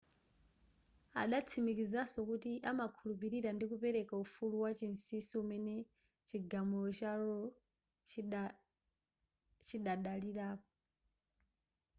adatsimikizaso kuti amakhulupilira ndi kupereka ufulu wachinsisi umene chigamulo cha roe chidadalirapo